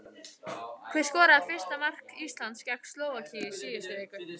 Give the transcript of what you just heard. Hver skoraði fyrsta mark Íslands gegn Slóvakíu í síðustu viku?